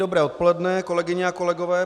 Dobré odpoledne, kolegyně a kolegové.